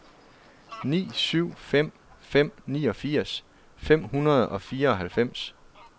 ni syv fem fem niogfirs fem hundrede og fireoghalvfems